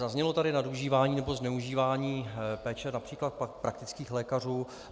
Zaznělo tady nadužívání nebo zneužívání péče například praktických lékařů.